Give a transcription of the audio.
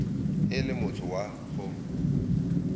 e le motho wa go